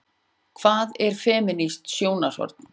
Hvað er femínískt sjónarhorn?